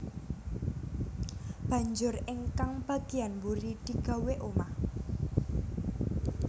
Banjur ingkang bagéyan mburi digawé omah